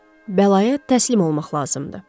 Bəlaya təslim olmaq lazımdır.